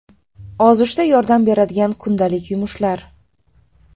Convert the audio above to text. Ozishda yordam beradigan kundalik yumushlar.